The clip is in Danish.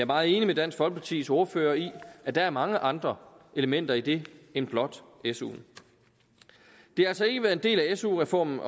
meget enig med dansk folkepartis ordfører i at der er mange andre elementer i det end blot suen det har altså ikke været en del af su reformen